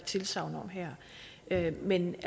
tilsagn om her men